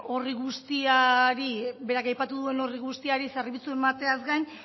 horri guztiari berak aipatu duen horri guztiari zerbitzu emateaz gain